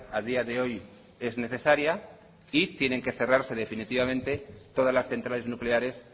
a día de hoy es necesaria y tienen que cerrarse definitivamente todas las centrales nucleares